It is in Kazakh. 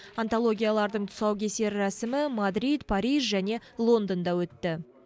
антологиялардың тұсаукесер рәсімі мадрид париж және лондонда өтті